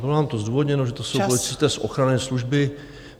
Bylo nám to zdůvodněno, že to jsou policisté z ochranné služby.